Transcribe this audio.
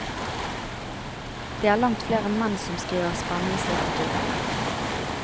Det er langt flere menn som skriver spenningslitteratur.